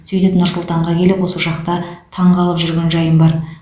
сөйтіп нұр сұлтанға келіп осы жақта таңғалып жүрген жайым бар